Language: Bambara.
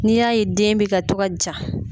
N'i y'a ye den bɛ ka to ka ja.